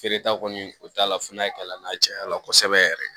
Feereta kɔni o t'a la fo n'a ye kalan na cayala kosɛbɛ yɛrɛ